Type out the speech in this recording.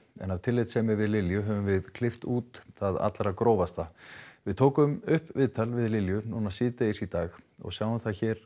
en af tillitssemi við Lilju höfum við klippt út það allra grófasta við tókum upp viðtal við Lilju síðdegis í dag og sjáum það hér